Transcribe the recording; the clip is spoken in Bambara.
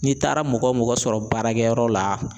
N'i taara mɔgɔ sɔrɔ baarakɛyɔrɔ la